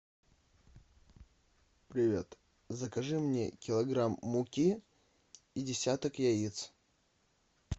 привет закажи мне килограмм муки и десяток яиц